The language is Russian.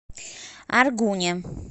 аргуне